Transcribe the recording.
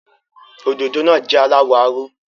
Òdòdó náà jẹ́ aláwọ̀ aró.